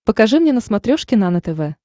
покажи мне на смотрешке нано тв